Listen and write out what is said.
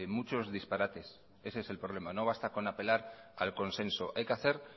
muchos disparates ese es problema no basta con apelar al consenso hay que hacer